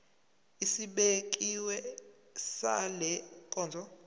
esibekiwe sale nkonzo